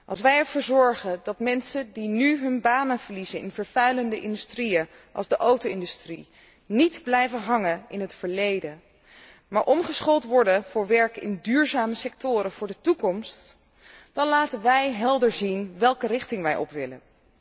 Als wij ervoor zorgen dat mensen die nu hun banen verliezen in vervuilende industrieën zoals de auto industrie, niet blijven hangen in het verleden, maar omgeschoold worden voor werk in duurzame sectoren voor de toekomst, dan laten wij duidelijk zien welke richting wij op willen.